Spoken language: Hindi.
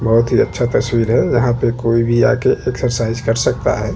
बहोत ही अच्छा तस्वीर है यहाँ पे कोई भी आ के एक्सरसाइज कर सकता है।